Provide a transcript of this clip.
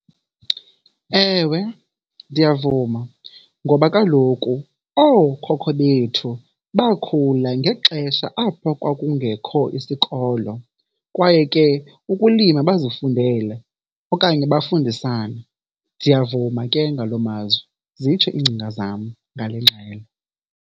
Ewe, ndiyavuma ngoba kaloku ookhokho bethu bakhula ngexesha apho kwakungekho isikolo kwaye ke ukulima bazifundela okanye bafundisana. Ndiyavuma ke ngaloo mazwi, zitsho iingcinga zam ngale ngxelo.